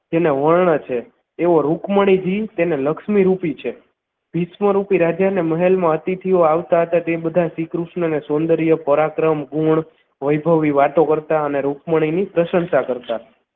તેને વર્ણ છે એવો રુકમણીજી તેને લક્ષ્મી રૂપી છે વિશ્વરૂપી રાજાના મહેલ મા અતિથિઓ આવતા હતા તે બધા શ્રીકૃષ્ણને સૌંદર્ય પરાક્રમ ગુણ વૈભવી વાતો કરતા અને રુકમણીની પ્રશંસા કરતા